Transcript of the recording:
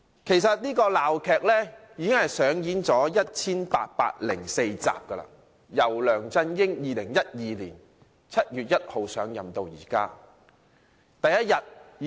其實，這齣鬧劇已上演了 1,804 集，由梁振英在2012年7月1日上任起上演至今。